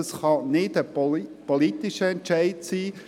Das kann nicht ein politischer Entscheid sein.